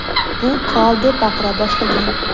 bu qirol deb baqira boshlagan.